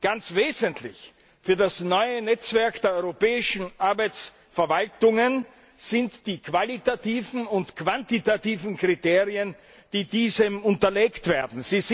Ganz wesentlich für das neue Netzwerk der europäischen Arbeitsmarktverwaltungen sind die qualitativen und quantitativen Kriterien, die diesem unterlegt werden.